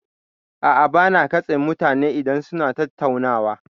A'a, ba na katse mutane idan suna tattaunawa.